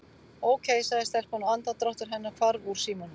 Ókei- sagði telpan og andardráttur hennar hvarf úr símanum.